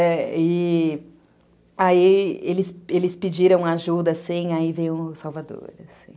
Muito heróico, é. E aí eles pediram ajuda, assim, aí veio o Salvador, assim...